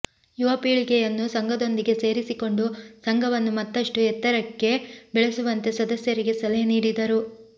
ಯುವ ಪೀಳಿಗೆಯುನ್ನು ಸಂಘದೊಂದಿಗೆ ಸೇರಿಸಿಕೊಂಡು ಸಂಘವನ್ನು ಮತ್ತಷು ಎತ್ತರಕ್ಕೆ ಬೆಳೆಸುವಂತೆ ಸದಸ್ಯರಿಗೆ ಸಲಹೆ ನೀಡಿದರು